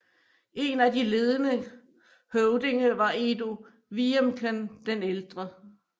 En af de ledende høvdinge var Edo Wiemken den ældre